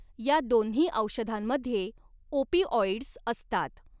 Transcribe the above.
या दोन्ही औषधांमध्ये ओपिऑइडस् असतात.